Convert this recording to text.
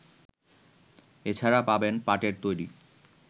এছাড়া পাবেন পাটের তৈরি